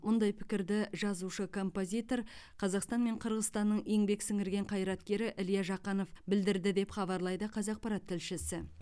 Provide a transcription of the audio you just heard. ондай пікірді жазушы композитор қазақстан мен қырғызстанның еңбек сіңірген қайраткері илья жақанов білдірді деп хабарлайды қазақпарат тілшісі